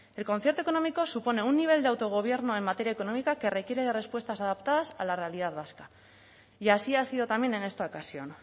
el concierto económico supone un nivel de autogobierno en materia económica que requiere de respuestas adaptadas a la realidad vasca y así ha sido también en esta ocasión